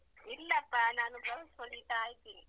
ಇಲ್ಲಪ್ಪ ನಾನು blouse ಹೊಲಿತಾ ಇದ್ದೇನೆ.